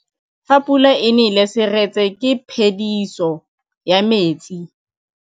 Fa pula e nelê serêtsê ke phêdisô ya metsi.